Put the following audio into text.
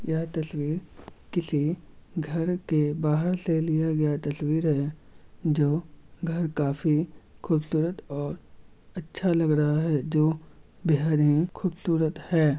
यह तस्वीर किसी घर के बाहर से लिया गया तस्वीर है जो घर काफी ख़ूबसूरत और अच्छा लग रहा है। जो बेहद ही ख़ूबसूरत है।